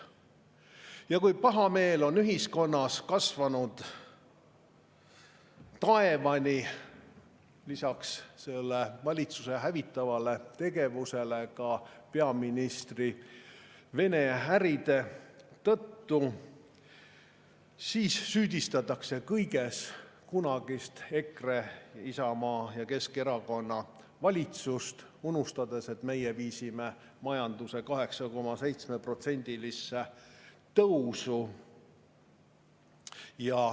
Ja kui pahameel on ühiskonnas kasvanud taevani – lisaks valitsuse hävitavale tegevusele ka peaministri Vene-äride tõttu –, siis süüdistatakse kõiges kunagist EKRE, Isamaa ja Keskerakonna valitsust, unustades, et meie viisime majanduse 8,7%-lisele tõusule.